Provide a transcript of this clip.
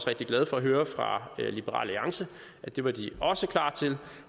rigtig glad for at høre fra liberal alliance at det var de også klar til